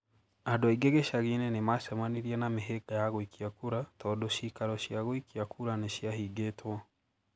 Andũ aingĩ gĩcagi-inĩ nĩ maacemanirie na mĩhĩnga ya gũikia kura tondũ ciikaro cia gũikia kura nĩ ciahingũtwo.